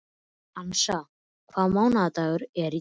Hansa, hvaða mánaðardagur er í dag?